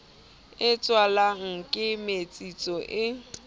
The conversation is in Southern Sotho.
e tswalwang ke metsetso e